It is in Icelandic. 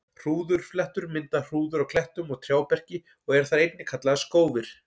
Hrúðurfléttur mynda hrúður á klettum og trjáberki og eru þær einnig kallaðar skófir.